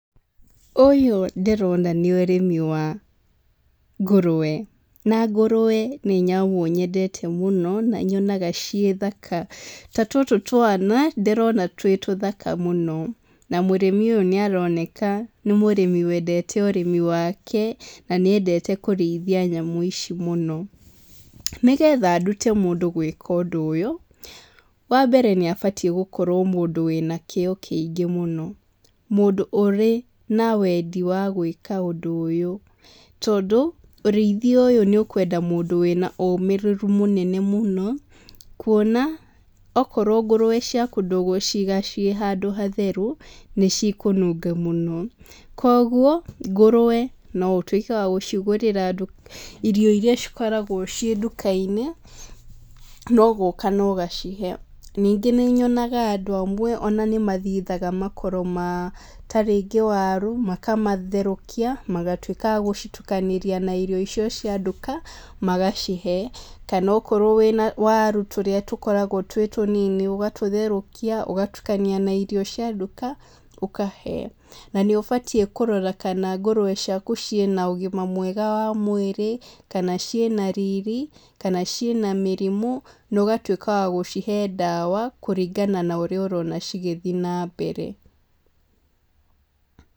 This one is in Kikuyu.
Ũyũ ndĩrona nĩ ũrĩmi wa ngũrũwe, na ngũrũwe nĩ nyamũ nyendete mũno na nyonaga ciĩ thaka. Ta tũtũ twana, ndĩrona twĩ tũthaka mũno. Na mũrĩmi ũyũ nĩaroneka nĩ mũrĩmi wendete ũrĩmi wake, na nĩendete kũrĩithia nyamũ ici mũno. Nĩgetha ndute mũndũ gwĩka ũndũ ũyũ, wambere nĩabatiĩ gũkorwo mũndũ wĩna kĩo kĩingĩ mũno. Mũndũ ũrĩ na wendi wa gwĩka ũndũ ũyũ. Tondũ, ũrĩithia ũyũ nĩ ũkwenda mũndũ wĩna ũmĩrĩru mũnene mũno, kuona okorwo ngũrũwe ciaku ndũgũciga ciĩ handũ hatheru, nĩcikũnunga mũno. Koguo, ngũrũwe no ũtuĩke wa gũcigũrĩra irio iria cikoragwo ciĩ ndũkainĩ, no gũka na ũgacihe. Ningĩ nĩnyonaga andũ amwe ona nĩmathithaga makoro ma tarĩngĩ waru, makamatherũkia, magatuĩka a gũcitukanĩria na irio icio cia nduka, magacihe, kana okorwo wĩna waru tũrĩa tũkoragwo twĩ tũnini ũgatũtherũkia, ũgatukania na irio cia nduka, ũkahe, na nĩũbatiĩ kũrora kana ngũrũwe ciaku cĩina ũgima mwega wa mwĩrĩ, kana ciĩna riri, kana ciĩ na mĩrimũ, na ũgatuĩka wa gũcihe ndawa, kũringana na ũrĩa ũrona cigĩthi nambere.